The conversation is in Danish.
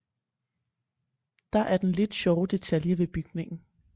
Der er den lidt sjove detalje ved bygningen